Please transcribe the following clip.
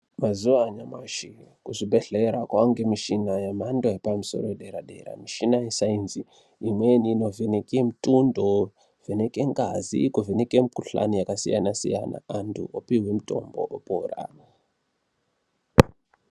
Mazuva anyamashi ku zvibhedhlera kwange mishina ye mhando yepa musoro ye dera dera mushina ye sainzi imweni ino vheneke mutundo ku vheneke ngazi ku vheneke mu kuhlani yaka siyana siyana antu opihwe mutombo opora.